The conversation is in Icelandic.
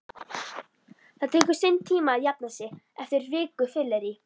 Það tekur sinn tíma að jafna sig eftir viku fyllerí